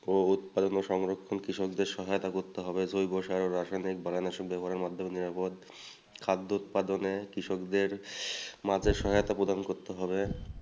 ও উৎপাদনের সংরক্ষণ কৃষকদের সহায়তা করতে হবে জৈব রাসায়নিক খাদ্য উৎপাদনে কৃষকদের মাঝে সহায়তা প্রদান করতে হবে।